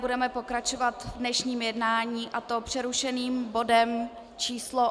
Budeme pokračovat v dnešním jednání, a to přerušeným bodem číslo